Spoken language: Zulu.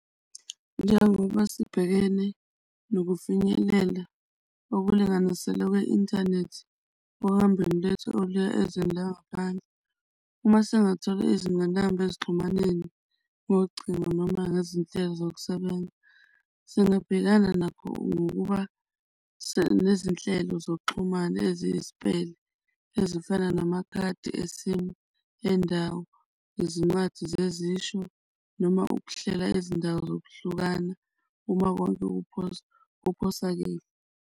Njengoba sibhekene nokufinyelela okulinganiselwe kwe-inthanethi ohambweni lethu oluya ezweni langaphandle, uma singathola izingqinamba ezixhumaneni kocingo noma nezinhlelo zokusebenza. Singabhekana nakho ngokuba nezinhlelo zokuxhumana eziyisipele ezifana namakhadi e-SIM endawo, izincwadi zezisho, noma ukuhlela izindawo zokuhlukana uma konke kuphosakele.